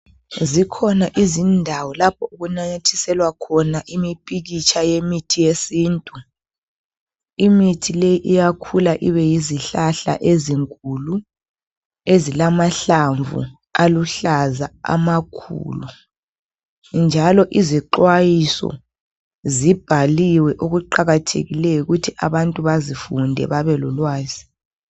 Zikhona izindawo lapho okunanyathiselwa khona imimpikitsha yemithi yesintu. Imithi leyi iyakhula ibeyizihlahla ezinkulu ezilamahlamvu aluhlaza amakhulu njalo izixwayiso zibhaliwe okuqakathekileyo ukuthi abantu bazifunde babelolwazi.